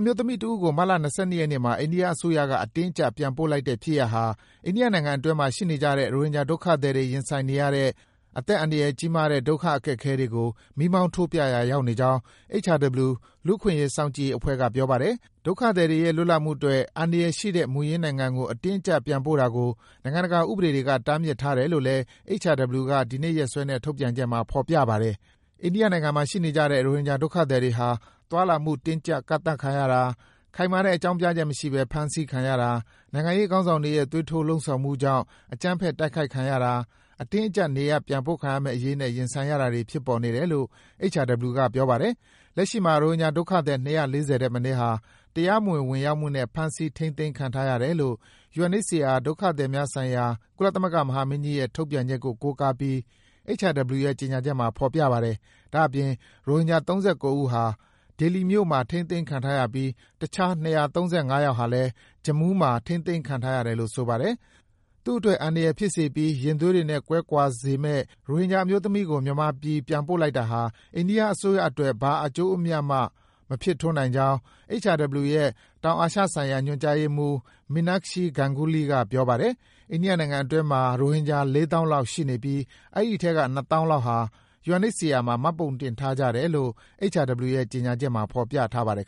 မျိုးသမီးတဦးကို မတ်လ ၂၂ ရက်နေ့မှာ အိန္ဒိယအစိုးရက အတင်းအကျပ် ပြန်ပို့လိုက်တဲ့ဖြစ်ရပ်ဟာ အိန္ဒိယနိုင်ငံတွင်းမှာ ရှိနေကြတဲ့ ရိုဟင်ဂျာဒုက္ခသည်တွေ ရင်ဆိုင်နေရတဲ့ အသက်အန္တရာယ်ကြီးမားတဲ့ ဒုက္ခအခက်အခဲတွေကို မီးမောင်းထိုးပြရာ ရောက်နေကြောင်း HRW လူ့အခွင့်အရေး စောင့်ကြည့်ရေးအဖွဲ့က ပြောပါတယ်။ ဒုက္ခသည်တွေရဲ့ လွတ်လပ်မှုအတွက် အန္တရာယ်ရှိတဲ့ မူရင်းနိုင်ငံကို အတင်းအကျပ်ပြန်ပို့တာကို နိုင်ငံတကာဥပဒေတွေက တားမြစ်ထားတယ်လို့ HRW က ဒီကနေ့ရက်စွဲနဲ့ထုတ်ပြန်တဲ့ ကြေညာချက်မှာ ဖော်ပြထားပါတယ်။ အိန္ဒိယနိုင်ငံမှာရှိနေကြတဲ့ ရိုဟင်ဂျာဒုက္ခသည်တွေဟာ သွားလာမှု တင်းကြပ် ကန့်သတ်ခံရတာ၊ ခိုင်မာတဲ့ အကြောင်းပြချက်မရှိဘဲ ဖမ်းဆီးခံရတာ၊ နိုင်ငံရေးခေါင်းဆောင်တွေရဲ့ သွေးထိုးလှုံ့ဆော်မှုကြောင့် အကြမ်းဖက် တိုက်ခိုက်ခံရတာ၊ အတင်းအကျပ် နေရပ်ပြန်ပို့ခံရမယ့်အရေးနဲ့ ရင်ဆိုင်တာတွေ ဖြစ်နေတယ်လို့ HRW ပြောပါတယ်။ လက်ရှိမှာ ရိုဟင်ဂျာဒုက္ခသည် ၂၄၀ ထက်မနည်းဟာ တရားမဝင် ဝင်ရောက်မှုနဲ့ ဖမ်းဆီး ထိန်းသိမ်းခံထားရတယ်လို့ UNHCR ဒုက္ခသည်များဆိုင်ရာ ကုလသမဂ္ဂမဟာမင်းကြီးရဲ့ ထုတ်ပြန်ချက်ကို ကိုးကားပြီး HRW ရဲ့ ကြေညာချက်မှာ ဖော်ပြထားပါတယ်။ ဒါ့အပြင် ရိုဟင်ဂျာ ၃၉ ဦးဟာ ဒေလီမြို့မှာ ထိန်းသိမ်းခံထားရပြီး တခြား ၂၃၅ ယောက်ဟာလည်း Jammu မှာ ထိန်းသိမ်းခံထား ရတယ်လို့ ဆိုပါတယ်။ သူ့အတွက် အန္တရာယ်ဖြစ်စေပြီး ရင်သွေးတွေနဲ့ ကွဲကွာစေမယ့် ရိုဟင်ဂျာအမျိုးသမီးကို အခုလို မြန်ပြည်ပြန်ပို့လိုက်တာက အိန္ဒိယ အစိုးရအတွက် ဘာမှ အကျိုးအမြတ် မဖြစ်ထွန်းနိုင်ကြောင်း HRW ရဲ့ တောင်အာရှဆိုင်ရာ ညွန်ကြားရေးမှုး Meenakshi Ganguly က ပြောပါတယ်။ အိန္ဒိယနိုင်ငံအတွင်းမှာ ရိုဟင်ဂျာ ၄၀,၀၀၀ လောက်ရှိနေပြီး အဲဒီအထဲက ၂၀,၀၀၀ လောက်ဟာ UNHCR မှာ မှတ်ပုံတင်ထားကြ တယ်လို့ HRW ရဲ့ ကြေညာချက်မှာ ဖော်ပြထားပါတယ်